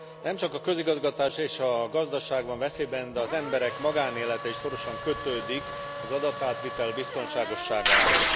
Nem csak a közigazgatás és a gazdaság van veszélyben, de az emberek magánélete is szorosan kötődik az adatátvitel biztonságosságához.